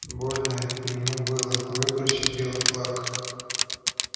больно ему было выбросить белый флаг